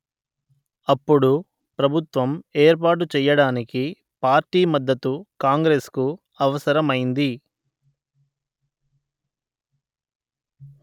అప్పుడు ప్రభుత్వం ఏర్పాటు చెయ్యడానికి పార్టీ మద్దతు కాంగ్రెసుకు అవసరమైంది